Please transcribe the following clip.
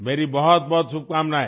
मेरी बहुतबहुत शुभकामनाएँ